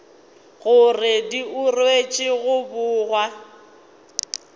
gore di ruetšwe go bogwa